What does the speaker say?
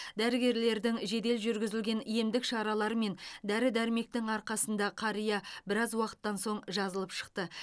дәрігерлердің желдел жүргізілген емдік шаралары мен дәрі дәрмектің арқасында қария біраз уақыттан соң жазылып шықты